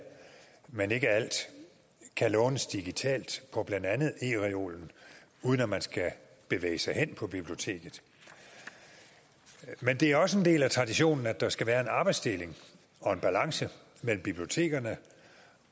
men ikke alt kan lånes digitalt på blandt andet ereolen uden at man skal bevæge sig hen på biblioteket men det er også en del af traditionen at der skal være en arbejdsdeling og en balance mellem bibliotekerne